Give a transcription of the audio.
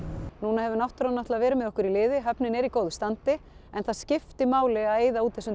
núna hefur náttúran náttúran verið með okkur í liði höfnin er í góðu standi en það skiptir máli að eyða út þessum